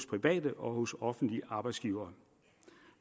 private og offentlige arbejdsgivere